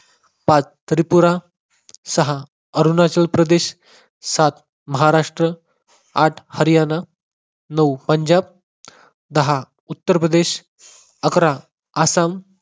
पाच त्रिपुरा, सहा अरुणाचल प्रदेश, सात महाराष्ट्र, आठ हरियाणा, नऊ पंजाब, दहा उत्तरप्रदेश, अकरा आसाम